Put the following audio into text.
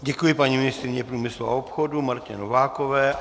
Děkuji paní ministryni průmyslu a obchodu Martě Novákové.